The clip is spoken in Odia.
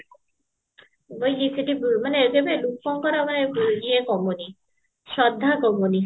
ମାନେ ଏବେବି ଲୋକଙ୍କର ମାନେ ଇଏ କମୁନି ଶ୍ରଦ୍ଧା କମୁନି